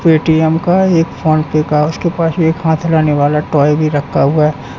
Paytm का एक PhonePe का उसके पास में एक हाथ हिलाने वाला टॉय भी रखा हुआ है।